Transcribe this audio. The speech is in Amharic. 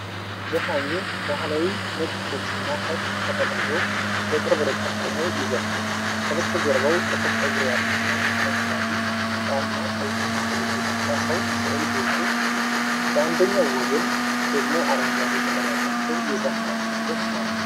ዘፋኙ ባህላዊ ነጭ ልብስና ሻሽ ተጠቅልሎ፣ በቅርብ ርቀት ቆሞ ይዘፍናል። ከበስተጀርባው ጥቁር ፀጉር ያለውና አረንጓዴ፣ ቢጫና ቀይ አክሊል የደፋ ሰው ስዕል ጎልቶ አለ። በአንደኛው ወገን ደግሞ አረንጓዴ ቅጠል ያላቸው የዛፍ ቅርንጫፎች አሉ።